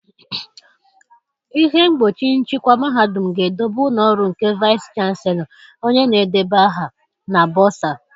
Ihe mgbochi nchịkwa mahadum ga-edobe ụlọ ọrụ nke Vaịsị Chanselọ, onye na-edeba aha, na Bọsaa.